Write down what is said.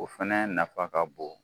O fana nafa ka bon